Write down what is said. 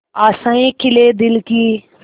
आशाएं खिले दिल की